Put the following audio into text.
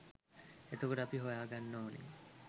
එතකොට අපි හොයා ගන්න ඕන